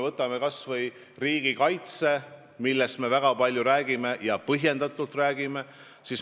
Võtame kas või riigikaitse, millest me väga palju räägime ja põhjendatult räägime.